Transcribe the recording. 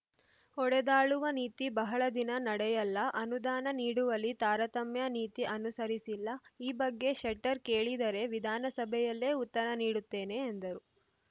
ಒಡೆದಾಳುವ ನೀತಿ ಬಹಳ ದಿನ ನಡೆಯಲ್ಲ ಅನುದಾನ ನೀಡುವಲ್ಲಿ ತಾರತಮ್ಯ ನೀತಿ ಅನುಸರಿಸಿಲ್ಲ ಈ ಬಗ್ಗೆ ಶೆಟ್ಟರ್‌ ಕೇಳಿದರೇ ವಿಧಾನಸಭೆಯಲ್ಲೇ ಉತ್ತರ ನೀಡುತ್ತೇನೆ ಎಂದರು